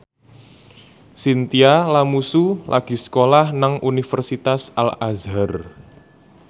Chintya Lamusu lagi sekolah nang Universitas Al Azhar